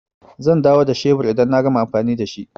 Zan dawo da shebur idan na gama amfani da shi.